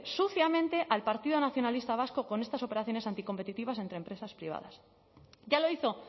suciamente al partido nacionalista vasco con estas operaciones anticompetitivas entre empresas privadas ya lo hizo